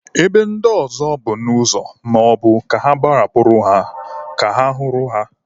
Ebe ndị ọzọ bụ n'ụzọ maọbụ ka agbarapụrụ ha ka a hụrụ ha.